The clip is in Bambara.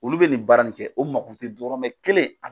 Olu bɛ nin baara nin kɛ o mako tɛ dɔrɔmɛ kelen